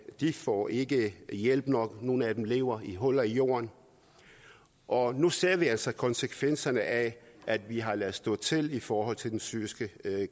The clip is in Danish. får ikke hjælp nok og nogle af dem lever i huller i jorden og nu ser vi altså konsekvenserne af at vi har ladet stå til i forhold til den syriske